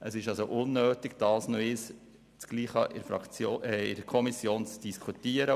Es ist also unnötig, dasselbe erneut in der Kommission zu diskutieren.